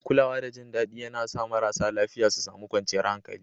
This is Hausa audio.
Kulawa da jin daɗi yAna sa marasa lafiya su sami kwanciyar hankali